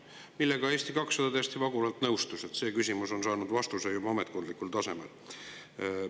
Sellega Eesti 200 täiesti vaguralt nõustus, nii et see küsimus on saanud vastuse juba ametkondlikul tasemel.